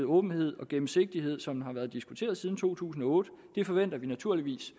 åbenhed og gennemsigtighed som har været diskuteret siden to tusind og otte vi forventer naturligvis